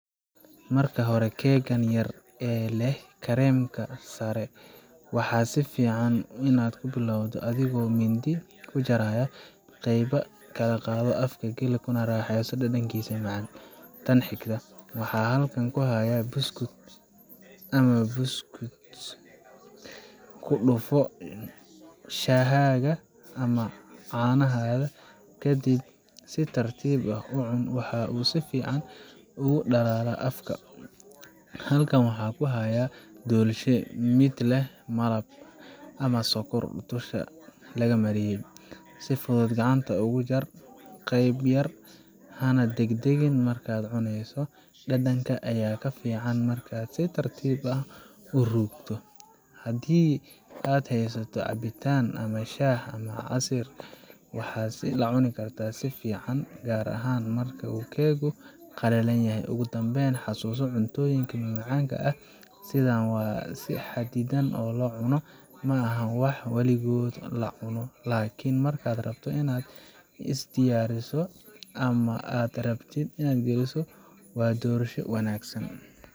Marka hore, keeggan yar ee leh kareemka sare waxa fiican inaad ku bilowdo adigoo mindi yar ka jaraya. Qayb yar ka qaado, afka geli, kuna raaxayso dhadhankiisa macaan. Tan xigta, waxaan halkan ku hayaa buskud ama biscuit. Ku dhufo shaahaaga ama caanaha, kadib si tartiib ah u cun waxa uu si fiican ugu dhalaalaa afka. Halkan waxaan ku hayaa doolshe midka leh malab ama sokor dusha laga mariyay. Si fudud gacanta uga jar qayb yar, hana degdegin markaad cuneyso dhadhanka ayaa ka fiican markaad si tartiib ah u ruugto. Haddii aad haysato cabitaan sida shaah ama casiir, waxan la cuni karaa si fiican, gaar ahaan marka uu keeggu qalalan yahay. Ugu dambayn, xasuuso: cuntooyinka macmacaanka ah sidaan waa in si xadidan loo cuno ma aha wax waligood la cuno! Laakiin markaad rabto inaad is-daryeesho ama aad marti geliso, waa doorasho wanaagsan.